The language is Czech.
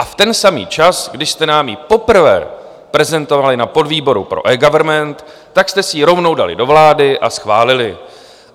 A v ten samý čas, kdy jste nám ji poprvé prezentovali na podvýboru pro eGovernment, tak jste si ji rovnou dali do vlády a schválili.